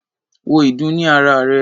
Wo ìdun ní ara rè.